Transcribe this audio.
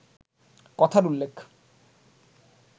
কথার উল্লেখ